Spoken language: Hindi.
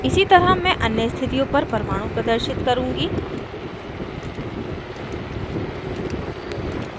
इसी तरह मैं अन्य स्थितियों पर परमाणु प्रदर्शित करुँगी